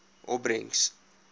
opbrengs